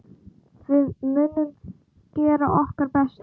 Við munum gera okkar besta.